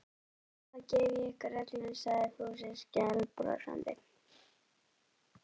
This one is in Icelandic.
Auðvitað gef ég ykkur öllum sagði Fúsi skælbrosandi.